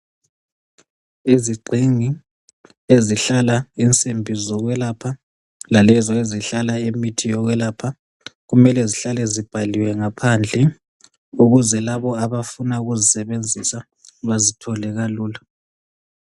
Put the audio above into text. izigxingi ezihlala insimbi zokwelapha lalezo ezihlala imithi yokwelapha kumele zihlale zibhaliwe ngaphandle ukuze labo abafuna ukuzisebenzisa bazithole kalula